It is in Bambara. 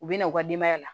U bɛ na u ka denbaya la